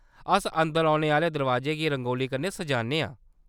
अस अंदर औने आह्‌ले दरोआजे गी रंगोली कन्नै सजान्ने आं।